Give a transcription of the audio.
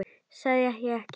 Sagði ég ekki?